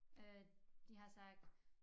Øh de har sagt